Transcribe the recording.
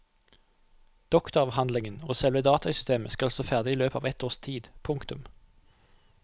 Doktoravhandlingen og selve datasystemet skal stå ferdig i løpet av et års tid. punktum